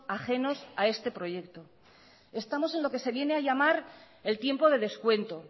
ajenos a este proyecto estamos en lo que se viene a llamar el tiempo de descuento